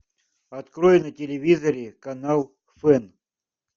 открой на телевизоре канал фэн